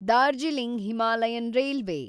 Darjeeling Himalayan railway